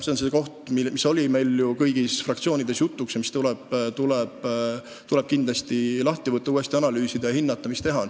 See on see koht, mis on meil kõigis fraktsioonides jutuks olnud ning mida tuleb kindlasti uuesti analüüsida, et hinnata, mida saab teha.